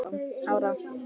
Bönnuð yngri en sex ára.